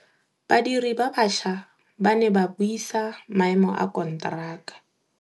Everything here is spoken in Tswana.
Badiri ba baša ba ne ba buisa maêmô a konteraka.